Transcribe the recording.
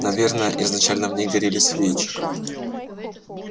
наверное изначально в ней горели свечи